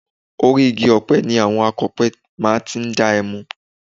Orí igi ọ̀pẹ ni àwọn akọ̀pẹ máa ti ń dá ẹmu